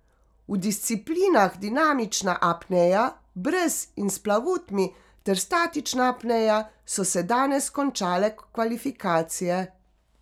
V disciplinah dinamična apnea brez in s plavutmi ter statična apnea so se danes končale kvalifikacije.